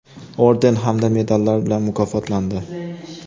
orden hamda medallar bilan mukofotlandi:.